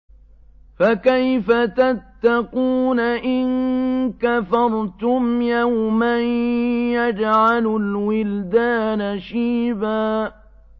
فَكَيْفَ تَتَّقُونَ إِن كَفَرْتُمْ يَوْمًا يَجْعَلُ الْوِلْدَانَ شِيبًا